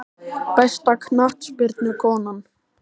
Besta knattspyrnukonan?